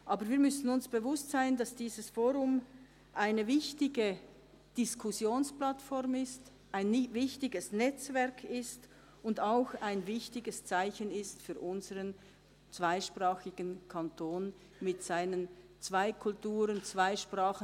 Aber wir müssen uns bewusst sein, dass dieses «fOrum» eine wichtige Diskussionsplattform, ein wichtiges Netzwerk ist und auch ein wichtiges Zeichen für unseren zweisprachigen Kanton mit seinen zwei Kulturen, zwei Sprachen.